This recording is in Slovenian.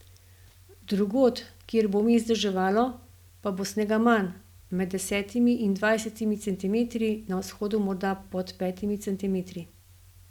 Drugod, kjer bo vmes deževalo, pa bo snega manj, med desetimi in dvajsetimi centimetri, na vzhodu morda pod petimi centimetri.